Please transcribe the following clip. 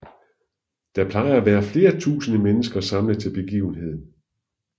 Der plejer at være flere tusinde mennesker samlet til begivenheden